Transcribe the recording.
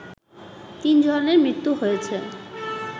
৩ জনের মৃত্যু হয়েছে